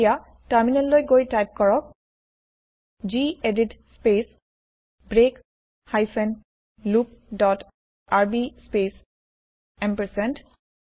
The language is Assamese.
এতিয়া টাৰ্মিনেল লৈ গৈ টাইপ কৰক gedit space break hyphen loop dot RB space ampersand